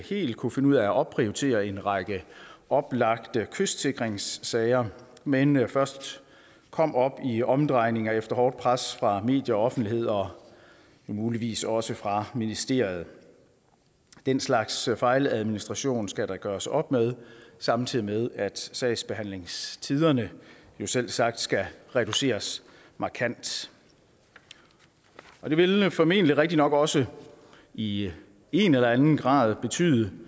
helt kunne finde ud af at opprioritere en række oplagte kystsikringssager men men først kom i omdrejninger efter hårdt pres fra medier og offentlighed og muligvis også fra ministeriet den slags fejladministration skal der gøres op med samtidig med at sagsbehandlingstiderne selvsagt skal reduceres markant det vil formentlig rigtig nok også i en eller en grad betyde